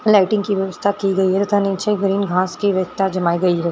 Lighting की व्यवस्था की गयी है तथा नीचे ग्रीन घास की व्यवस्था जमाई गयी है।